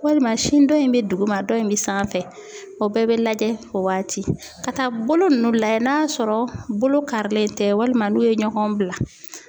Walima sin dɔ in be duguma dɔ in be sanfɛ. O bɛɛ be lajɛ o waati ka taa bolo nunnu lajɛ n'a sɔrɔ bolo karilen tɛ walima n'u ye ɲɔgɔn bila.